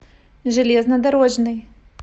железнодорожный